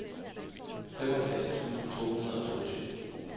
femoghalvfjerds tusind to hundrede og toogtyve